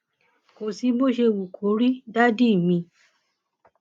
kò sí bó ṣe wù kó rí dádì mi